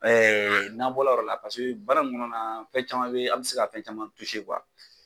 Ɛɛ n'an bɔra o yɔrɔ la baara in kɔnɔna na fɛn caman bɛ an bɛ se ka fɛn caman